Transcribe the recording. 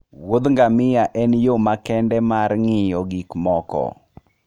wuodh ngamia en yo makende mar ng'iyo gik moko.